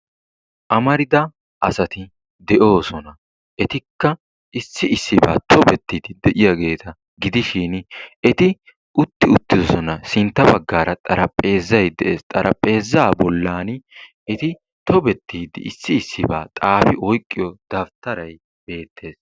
Amarida asati de"oosona. Etikka issi issibaan tobettidi de'iyaageta gidishiin eti utti uttidoosona. sintta baggaara xarapheezzay de'ees. Xarapheezzaa bollaani eti tobbettidi issi issibaa xaafi oyqqiyoo dabttaray beettees.